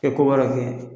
Kɛ ko wɛrɛ kɛ